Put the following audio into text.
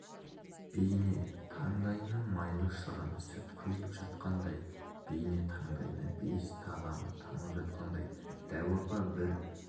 бейне таңдайына майлы шырын сүт құйылып жатқандай бейне таңдайына бейіс тағамы тамып жатқандай дәу апа бір